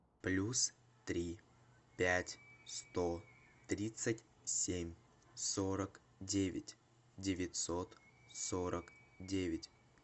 плюс три пять сто тридцать семь сорок девять девятьсот сорок девять